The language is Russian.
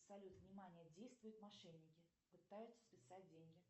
салют внимание действуют мошенники пытаются списать деньги